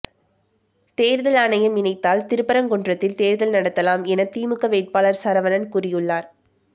தேர்தல் ஆணையம் நினைத்தால் திருப்பரங்குன்றத்தில் தேர்தல் நடத்தலாம் என திமுக வேட்பாளர் சரவணன் கூறியுள்ளார்